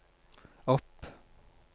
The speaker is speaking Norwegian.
opp